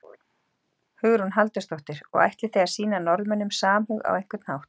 Hugrún Halldórsdóttir: Og ætlið þið að sýna Norðmönnum samhug á einhvern hátt?